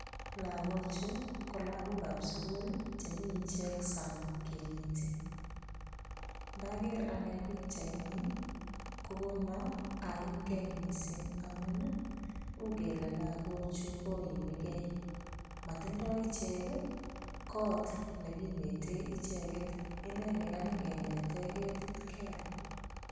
lakochu kolakok ap suguul chemiichek saang kineti. ndager ane piik cheuni kona aimgei mising amun ii ugele lakochu koimigeimatindoi ichek ii koot neginete icheket. inenekanyikinetei ketit keel.